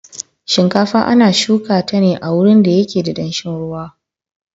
Shinkafa ana shuka ta ne a wurin da yake da danshin ruwa.